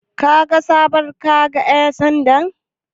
Kaga sabon kaga ƴan sandan?